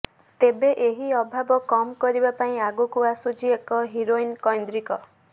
ତେବେ ଏହି ଅଭାବ କମ କରିବା ପାଇଁ ଆଗକୁ ଆସୁଛି ଏକ ହିରୋଇନ କୈନ୍ଦ୍ରିକ